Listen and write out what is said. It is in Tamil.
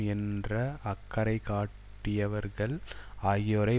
என்ற அக்கறை காட்டியவர்கள் ஆகியோரை